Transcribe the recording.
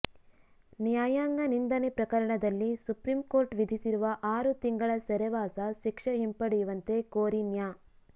ನ್ಯಾಯಾಂಗ ನಿಂದನೆ ಪ್ರಕರಣದಲ್ಲಿ ಸುಪ್ರೀಂಕೋರ್ಟ್ ವಿಧಿಸಿರುವ ಆರು ತಿಂಗಳ ಸೆರೆವಾಸ ಶಿಕ್ಷೆ ಹಿಂಪಡೆಯುವಂತೆ ಕೋರಿ ನ್ಯಾ